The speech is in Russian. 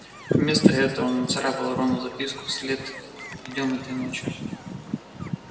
вместо этого он нацарапал рону записку в след идём этой ночью